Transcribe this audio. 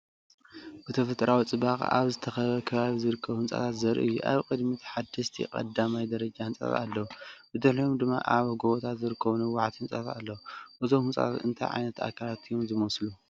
ብተፈጥሮኣዊ ጽባቐ ኣብ ዝተኸበበ ከባቢ ዝርከቡ ህንጻታት ዘርኢ እዩ። ኣብ ቅድሚት ሓደስቲ ቀዳማይ ደረጃ ህንጻታት ኣለዉ፣ ብድሕሪኦም ድማ ኣብ ጎቦታት ዝርከቡ ነዋሕቲ ህንጻታት ኣለዉ። እዞም ህንጻታት እንታይ ዓይነት ትካላት እዮም ዝመስሉ?